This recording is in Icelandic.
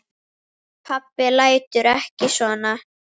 Pabbi láttu ekki svona.